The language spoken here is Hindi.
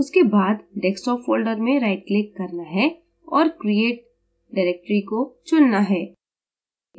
उसके बाद desktop folder में rightclick करना है और create directory को select करना है